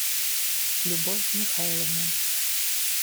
любовь михайловна